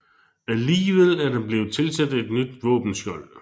Alligevel er der blevet tilsat et nyt våbenskjold